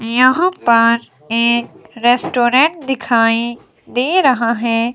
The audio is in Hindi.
यहां पर एक रेस्टोरेंट दिखाई दे रहा है।